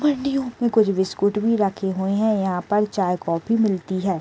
बरनियों में कुछ बिस्कुट भी रखे हुए हैं यहाँ पर चाय कॉफी मिलती है।